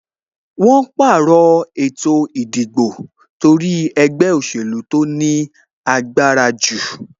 Wọn pàrọ̀ ètò ìdìbò torí ẹgbẹ́ òsèlú tó ní agbára jù